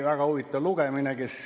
Väga huvitav lugemine.